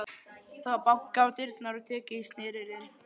Það var bankað á dyrnar og tekið í snerilinn.